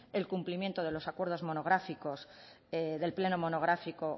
el cumplimiento de los acuerdos monográficos del pleno monográfico